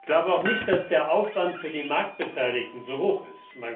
Ich glaube auch nicht, dass der Aufwand für die Marktbeteiligten so hoch ist.